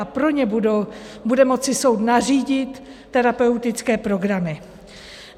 A pro ně bude moci soud nařídit terapeutické programy.